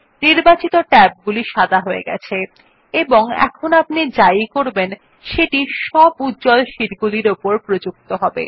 নির্বাচিত ট্যাবগুলি সাদা হয়ে গেছে এবং এখন আপনি যাই করবেন সেটি সব উজ্জ্বল শীটগুলির উপর প্রযক্ত হবে